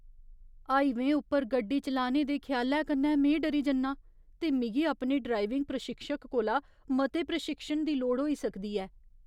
हाईवेंऽ उप्पर गड्डी चलाने दे ख्यालै कन्नै में डरी जन्नां, ते मिगी अपने ड्राइविंग प्रशिक्षक कोला मते प्रशिक्षण दी लोड़ होई सकदी ऐ।